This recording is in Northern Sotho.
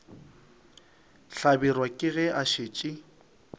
hlabirwa ke ge a šetše